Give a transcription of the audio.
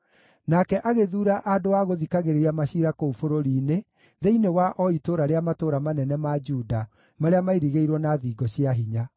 Nake agĩthuura andũ a gũthikagĩrĩria maciira kũu bũrũri-inĩ, thĩinĩ wa o itũũra rĩa matũũra manene ma Juda marĩa mairigĩirwo na thingo cia hinya.